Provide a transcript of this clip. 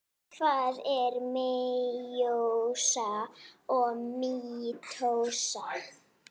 Hvað er meiósa og mítósa?